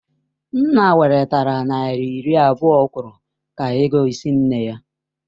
Nna welatara naira iri abụọ ọ kwuru ka ego ịsị nne ya.